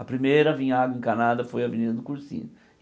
A primeira a vim água encanada foi a Avenida do Cursina.